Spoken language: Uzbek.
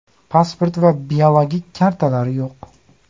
Pasport va biologik kartalari yo‘q.